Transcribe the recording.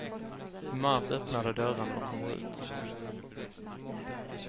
I mars öppnar de dörrarna och kommer ut.